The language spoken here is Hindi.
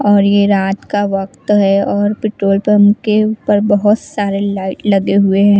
और यह रात का वक्त है और पेट्रोल पंप के ऊपर बहुत सारे लाइट लगे हुए--